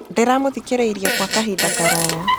Ndĩramũthikĩrĩirie kwa kahinda karaya.